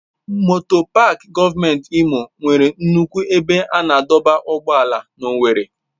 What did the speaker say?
Moto Pááki gọọmenti Imo nwere nnukwu ebe a na-adọba ụgbọala na owerri.